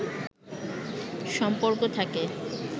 সম্পর্ক থাকে